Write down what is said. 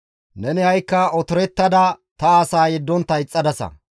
Neni ha7ikka otorettada ta asaa yeddontta ixxadasa.